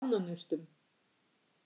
Ánanaustum